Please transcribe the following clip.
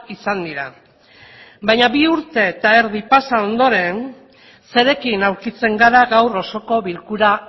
izan dira baina bi urte eta erdi pasa ondoren zerekin aurkitzen gara gaur osoko bilkura